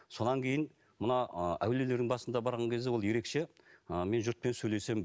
содан кейін мына ы әулиелердің басында барған кезде ол ерекше ы мен жұртпен сөйлесем